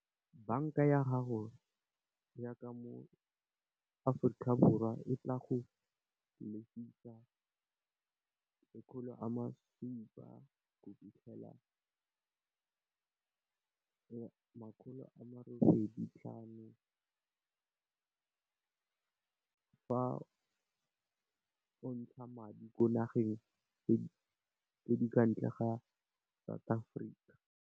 Banka ya gago ya mo AforikaBorwa e tla go lefisa diranta di le makgolo a supa go fitlhela diranta di le makgolo a le robedi le botlhano, fa o ntsha madi kwa nageng tse di kwa ntle ga South Africa.